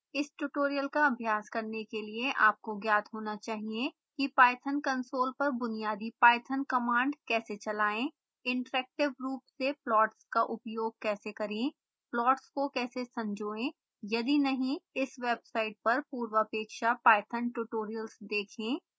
इस ट्यूटोरियल का अभ्यास करने के लिए आपको ज्ञात होना चाहिए कि ipython कंसोल पर बुनियादी python कमांड कैसे चलाएं